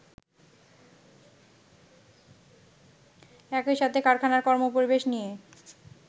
একইসাথে কারখানার কর্মপরিবেশ নিয়ে